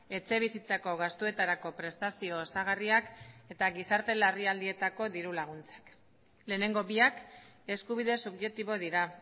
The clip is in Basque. etxebizitzako gastuetarako prestazio osagarriak eta gizarte larrialdietako diru laguntzak lehenengo biak eskubide subjektibo dira